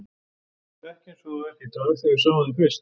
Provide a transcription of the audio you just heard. Þú varst ekki eins og þú ert í dag þegar við sáum þig fyrst.